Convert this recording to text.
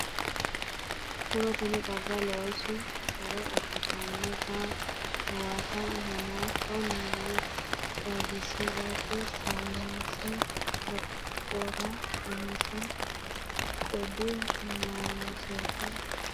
Mu’rotenni xagga loosa huro abbitannota huwata hanafa noo xagisi’rate sayinse lophora umise qoodi nooseti afantinote Mu’rotenni xagga loosa huro abbitannota.